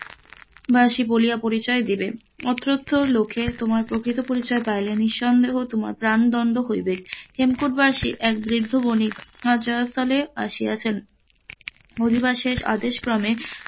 বাসী বলিয়া পরিচয় দিবে অতত্র লোকে তোমার প্রকৃত পরিচয় পাইলে নিসন্দেহে তোমার প্রানদন্ড হইবে, হেমকূট বাসী এক বৃদ্ধ বণিক জয়স্থলে আসিয়াছেন অধিরাজ্যের আদেশ ক্রমে,